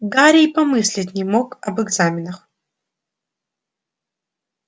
гарри и помыслить не мог об экзаменах